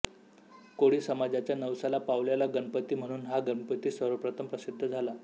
कोळी समाजाच्या नवसाला पावलेला गणपती म्हणून हा गणपती सर्वप्रथम प्रसिद्ध झाला